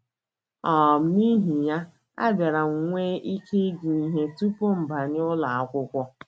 “ um N’ihi ya, abịara m nwee ike ịgụ ihe tupu m banye ụlọ akwụkwọ.